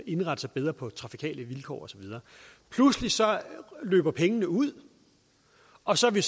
indrette sig bedre på trafikale vilkår og så videre pludselig løber pengene ud og så er vi